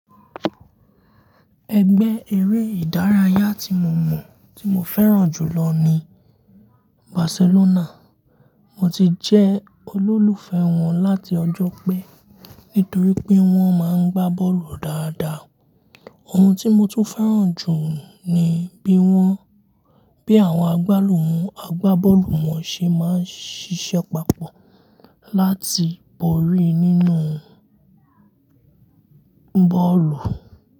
Ẹgbẹ́ eré ìdárayá tí mo mọ̀ tí mo fẹ́ràn jù lọ ní Barcelona. Mo ti jẹ́ olólùfẹ́ wọn láti ọjọ́ pé nítorí pé wọ́n máa ń gbá bọ́ọ̀lù dáadáa. Ohun tí mo tún fẹ́ràn jù ni bí wọ́n bí àwọn agbálù àgbá bọ́ọ̀lù wọn ṣe máa ń ṣíṣe papọ̀ láti borí nínú bọ́ọ̀lù.